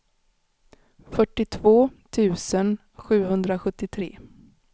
fyrtiotvå tusen sjuhundrasjuttiotre